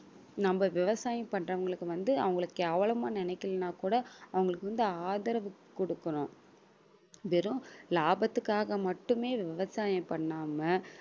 நம்ம விவசாயம் பண்றவங்களுக்கு வந்து அவங்கள கேவலமா நினைக்கலன்னா கூட அவங்களுக்கு வந்து ஆதரவு குடுக்கணும். வெறும் லாபத்துக்காக மட்டுமே விவசாயம் பண்ணாம